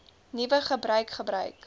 nuwe gebruik gebruik